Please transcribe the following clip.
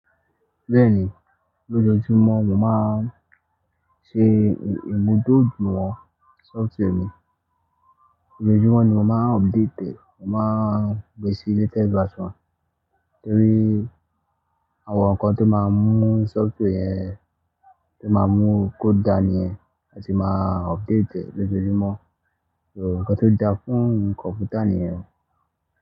Bẹ́ẹ̀ni, lójoojúmọ́ mo máa ń ṣe ìmúdójúìwọ̀n software mi. Lójojúmọ́ ni mo máa ń update, mo máa ń gbé sí latest version nítorí àwọn nǹkan tó máa ń mú software yẹn, tó máa ń mú code dà níyẹn a tì máa update lójoojúmọ́. Uǹkọ̀ tó dà fún kọ̀mpútà níyẹn.